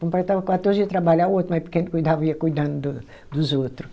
Completava quatorze ia trabalhar o outro mais pequeno cuidava, ia cuidando do dos outro.